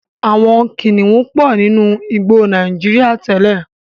Àwọn kìnnìún pọ̀ nínú àwọn igbó Nàíjíríà tẹ́lẹ̀.